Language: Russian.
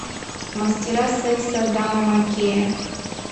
мастера секса адама маккея